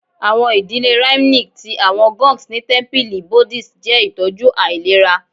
Awọn idile rhythmic ti awọn gongs ni tẹmpili Buddhist jẹ itọju ailera